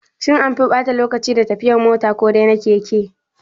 Shin anfi ɓata lokaci da tafiyan mota ko dai na keke?